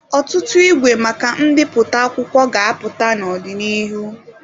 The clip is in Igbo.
Ọtụtụ igwe maka mbipụta akwụkwọ ga-apụta n'ọdịnihu.